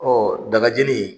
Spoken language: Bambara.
Ɔ daga jeni